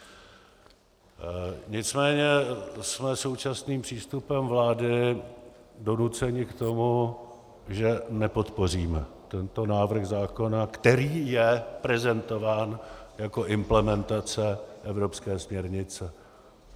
Nicméně jsme současným přístupem vlády donuceni k tomu, že nepodpoříme tento návrh zákona, který je prezentován jako implementace evropské směrnice.